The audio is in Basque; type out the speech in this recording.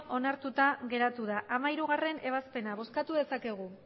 onartuta geratu da hamalaugarrena ebazpena bozkatu dezakegu